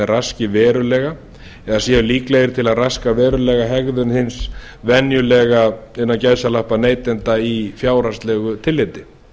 raski verulega eða sú líklegir til að raska verulega hegðun hins venjulega innan gæsalappa neytanda í fjárhagslegu tilliti